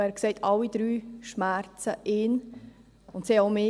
Er sagte, alle drei Vorschläge würden ihn schmerzen.